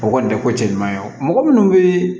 O kɔni tɛ ko cɛ ɲuman ye wa mɔgɔ minnu bɛ